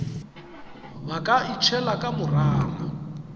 ba ka itšhela ka morara